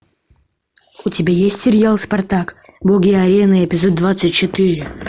у тебя есть сериал спартак боги арены эпизод двадцать четыре